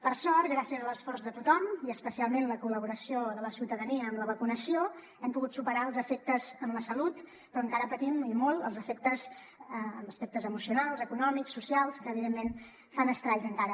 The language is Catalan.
per sort gràcies a l’esforç de tothom i especialment a la col·laboració de la ciutadania amb la vacunació n’hem pogut superar els efectes en la salut però encara en patim i molt els efectes en aspectes emocionals econòmics socials que evidentment fan estralls encara